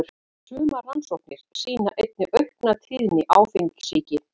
Sumar rannsóknir sýna einnig aukna tíðni áfengissýki.